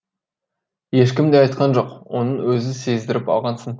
ешкім де айтқан жоқ оны өзің сездіріп алғансың